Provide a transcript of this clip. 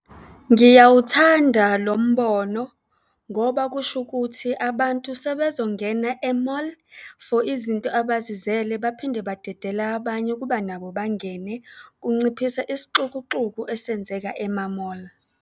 Ngiyawuthanda lo mbono ngoba kusho ukuthi abantu sebezongena e-mall for izinto abazizele baphinde badedele abanye ukuba nabo bangene. Kunciphisa isixukuxuku esenzeka ema-mall.